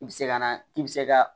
I bi se ka na k'i bi se ka